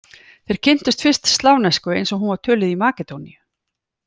Þeir kynntust fyrst slavnesku eins og hún var töluð í Makedóníu.